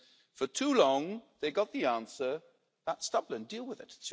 And then for too long they got the answer that's Dublin, deal with it.